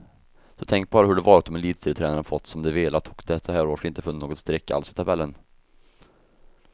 Så tänk bara hur det varit om elitserietränarna fått som de velat och det så här års inte funnits något streck alls i tabellen.